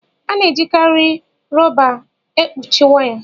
a na-ejikarị rọba èkpuchi waya